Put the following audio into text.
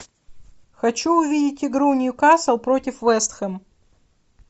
хочу увидеть игру ньюкасл против вест хэм